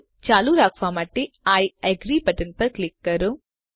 હવે ચાલુ રાખવા માટે આઇ અગ્રી બટન ક્લિક કરો